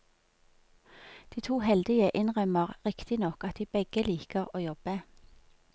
De to heldige innrømmer riktignok at de begge liker å jobbe.